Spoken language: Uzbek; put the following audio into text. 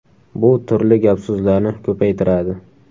Bu turli gap-so‘zlarni ko‘paytiradi.